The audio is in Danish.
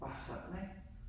Bare sådan ik